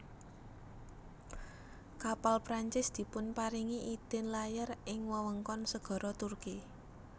Kapal Prancis dipunparingi idin layar ing wewengkon segara Turki